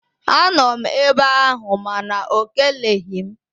Anọ m ebe ahụ mana ọ keleghị m